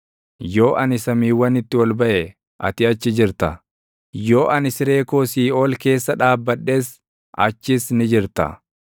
Yoo ani samiiwwanitti ol baʼe, ati achi jirta; yoo ani siree koo siiʼool keessa dhaabbadhes, achis ni jirta.